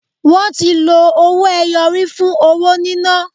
Wọ́n ti lọ owó ẹyọ rí fún owó níná.